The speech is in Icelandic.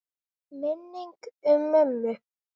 Minning um mömmu.